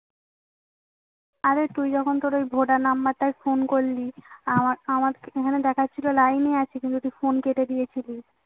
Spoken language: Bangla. অরে তুই যখন তোর ওই ভোটার number টায় ফোন করলি আমার আমার এখানে দেখাচ্ছিল line এ আছি কিন্তু তুই ফোন কেটে দিয়েছিলি